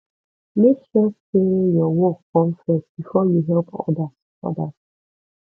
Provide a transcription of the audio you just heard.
make sure say your work come first before you help others others